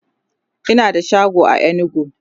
Ina da shago a inugu